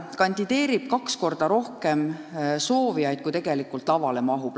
Kandideerib kaks korda rohkem soovijaid, kui lavale mahub.